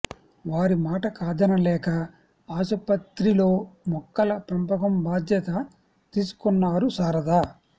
వారి మాట కాదనలేక ఆసుపత్రిలో మొక్కల పెంపకం బాధ్యత తీసుకున్నారు శారద